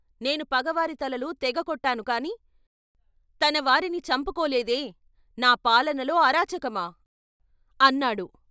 "నేను పగవారి తలలు తెగ కొట్టాను కాని, తన వారిని చంపుకోలేదే, నా పాలనలో అరాచకమా?" అన్నాడు